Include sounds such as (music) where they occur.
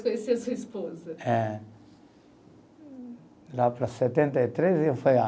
Conhecer a sua esposa? É. Lá para setenta e três (unintelligible)